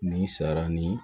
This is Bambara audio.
Nin sara ni